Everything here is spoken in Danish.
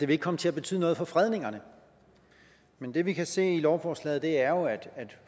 vil komme til at betyde noget for fredningerne men det vi kan se i lovforslaget er jo at